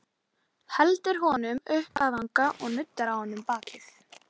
Heldur honum upp að vanga og nuddar á honum bakið.